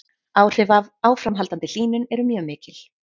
Áhrif af áframhaldandi hlýnun eru mjög mikil.